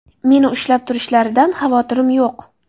Meni ushlab turishlaridan xavotirim yo‘q.